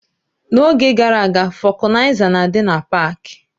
N'oge gara aga, vokanaiza na-adị na pak.